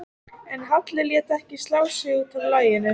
En Halli lét ekki slá sig út af laginu.